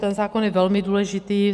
Ten zákon je velmi důležitý.